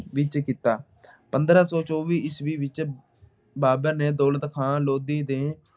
ਵਿੱਚ ਕੀਤਾ। ਪੰਦਰਾਂ ਸੌ ਚੌਵੀ ਈਸਵੀ ਵਿੱਚ ਬਾਬਰ ਨੇ ਦੌਲਤ ਖਾਂ ਲੋਧੀ ਦੇ